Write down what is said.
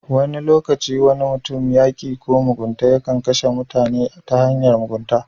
Wani lokaci wani mutum ko yaki ko mugunta yakan kashe mutane ta hanyar mugunta